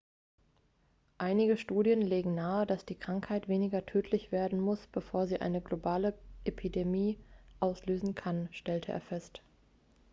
einige studien legen nahe dass die krankheit weniger tödlich werden muss bevor sie eine globale epidemie auslösen kann stellte er fest